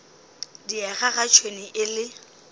diega ga tšhwene e le